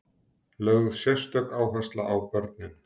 Lögð sérstök áhersla á börnin.